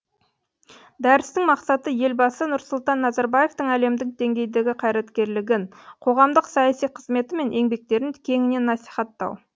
дәрістің мақсаты елбасы нұрсұлтан назарбаевтың әлемдік деңгейдегі қайраткерлігін қоғамдық саяси қызметі мен еңбектерін кеңінен насихаттау